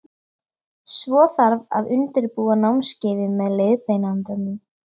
Svo þarf að undirbúa námskeiðið með leiðbeinandanum.